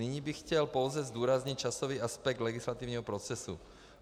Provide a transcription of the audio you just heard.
Nyní bych chtěl pouze zdůraznit časový aspekt legislativního procesu.